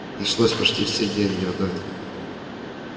пришлось почти все деньги отдать